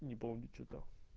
не помню что там